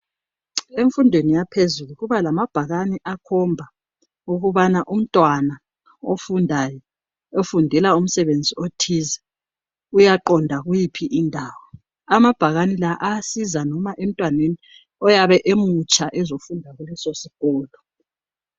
Emfundweni yaphezulu kubamabhakane akhomba ukubana umntwana ofundayo , ofundela umsebenzi othize uyaqonda kuyiphi indawo .Amabhakane la ayasiza noma emntwaneni emutsha ezofunda kuleso sikolo